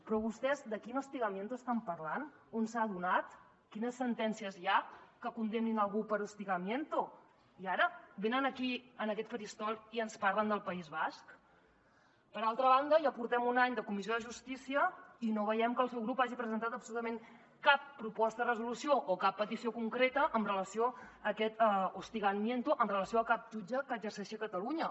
però vostès de quin hostigamiento estan parlant on s’ha donat quines sentències hi ha que condemnin algú per hostigamiento i ara venen aquí en aquest faristol i ens parlen del país basc per altra banda ja portem un any de comissió de justícia i no veiem que el seu grup hagi presentat absolutament cap proposta de resolució o cap petició concreta amb relació a aquest hostigamiento amb relació a cap jutge que exerceixi a catalu·nya